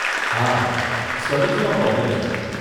હા, સ્ટડીઝમાં પ્રોબ્લેમ છે.